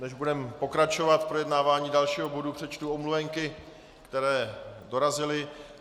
Než budeme pokračovat v projednávání dalšího bodu, přečtu omluvenky, které dorazily.